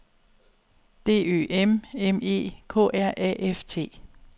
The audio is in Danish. D Ø M M E K R A F T